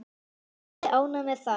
Er ég ánægður með það?